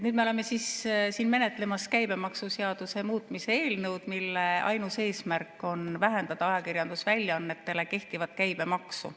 Nüüd me oleme menetlemas käibemaksuseaduse muutmise eelnõu, mille ainus eesmärk on vähendada ajakirjandusväljaannetele kehtivat käibemaksu.